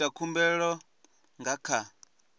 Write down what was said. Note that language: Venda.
u ita khumbelo nga kha